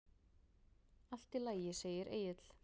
Allt í lagi, segir Egill.